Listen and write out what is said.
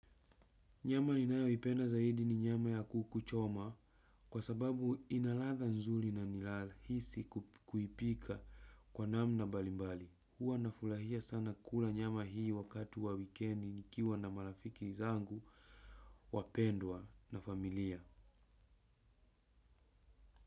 Nyama ninayo ipenda zaidi ni nyama ya kukuchoma, kwa sababu inaladha nzuli na nilale hisi kuipika kwa namna balimbali. Huwa nafurahia sana kula nyama hii wakati wa weekendi nikiwa na marafiki zangu, wapendwa na familia.